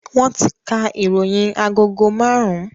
Wọn ti ka ìròyìn agogo marun-un